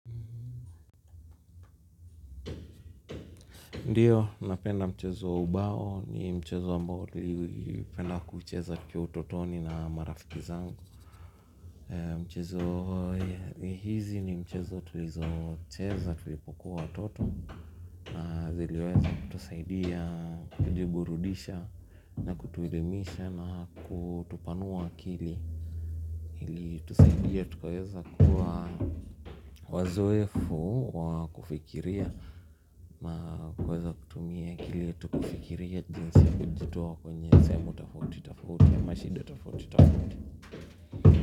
Ndiyo, ninapenda mchezo wa ubao ni mchezo ambao tulipenda kucheza tukiwa utotoni na marafiki zangu michezo hizi ni mchezo tulizocheza tulipokuwa watoto na ziliweza kutusaidia, kujiburudisha na kutuelimisha na kutupanua akili ili tusaidia tukuweza kuwa wazoefu wa kufikiria tunaweza kutumia akili yetu kifikiria jinsi ya kujitoa kwenye sehemu tofautitofauti ama shida tofautitofauti.